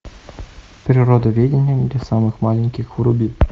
природоведение для самых маленьких вруби